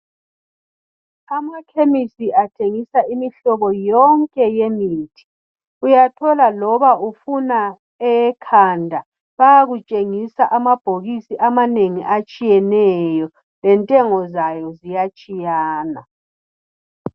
Amacliniki athengisa imihlobo yonke yemithi uyathola loba ufuna eyekhanda bayakutshingisa amabhokisi wonke atshiyeneyo lentengo zawo iyatshiyana